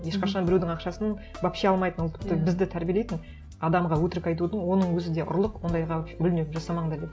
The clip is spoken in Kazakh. ешқашан біреудің ақшасын вообще алмайтын ол тіпті бізді тәрбиелейтін адамға өтірік айтудың оның өзі де ұрлық ондайға мүлдем жасамаңдар деп